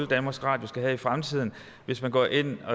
danmarks radio have i fremtiden hvis man går ind